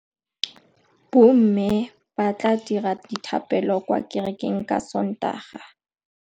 Bommê ba tla dira dithapêlô kwa kerekeng ka Sontaga.